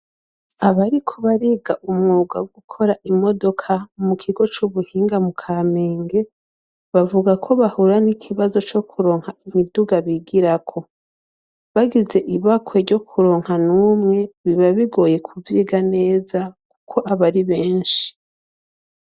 Abariko bariga umwuga wo gukora imodoka mu kigo c'ubuhinga mu kamenge bavuga ko bahura n'ikibazo co kuronka imiduga bigirako bagize ibakwe ryo kuronka n'umwe biba bigoye kuviga neza kuko aba ari benshi.